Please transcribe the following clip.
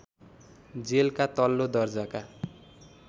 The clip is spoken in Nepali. जेलका तल्लो दर्जाका